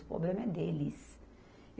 O problema é deles.